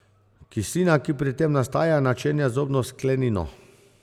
Kislina, ki pri tem nastaja, načenja zobno sklenino.